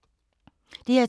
DR2